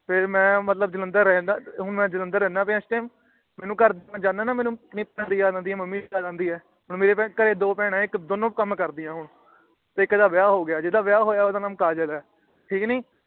ਫੇਰ ਮੈਂ ਮਤਲਬ ਜਲੰਧਰ ਰਹਿੰਦਾ ਹੋਣ ਮੈਂ ਜਲੰਧਰ ਰਹਿੰਦਾ ਪਈਆਂ ਇਸ ਟਾਈਮ ਮਈ ਘਰ ਕੋਲ ਜਾਂਦਾ ਨਾ ਤੇ ਮੇਨੂ ਇੰਨੀ ਭੈੜੀ ਯਾਦ ਆਉਂਦੀ ਹੈ ਮੇਨੂ ਮੰਮੀ ਦੀ ਹੋਣ ਮੇਰੇ ਘਰੇ ਦੋ ਬਹਿਣਾ ਨੇ ਦੋਨੋ ਕਾਮ ਕਰਦਿਆਂ ਨੇ ਤੇ ਇਕ ਦਾ ਵਿਆਹ ਹੋ ਗਿਆ ਤੇ ਜੀਦਾ ਵਿਆਹ ਹੋਇਆ ਆ ਆਉਂਦਾ ਨਾਂ ਕਾਜਲ ਹੈਂ ਠੀਕ ਨੀ